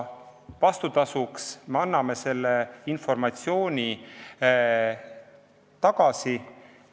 Vastutasuks me anname selle informatsiooni tagasi.